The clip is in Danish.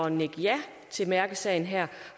at nikke ja til mærkesagen her